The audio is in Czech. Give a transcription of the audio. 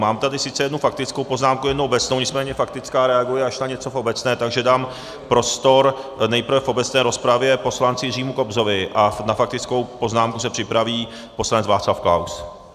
Mám tady sice jednu faktickou poznámku, jednu obecnou, nicméně faktická reaguje až na něco v obecné, takže dám prostor nejprve v obecné rozpravě poslanci Jiřímu Kobzovi a na faktickou poznámku se připraví poslanec Václav Klaus.